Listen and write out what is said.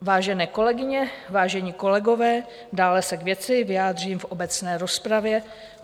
Vážené kolegyně, vážení kolegové, dále se k věci vyjádřím v obecné rozpravě.